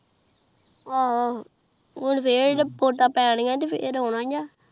ਆਹ ਹੁਣ ਫਿਰ ਵੋਟਾ ਜੇ ਪੈਨਿਯਾ ਨੇ ਤੇਹ ਇਹ ਰੋਨਾ ਹੈ